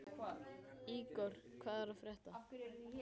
Ígor, hvað er að frétta?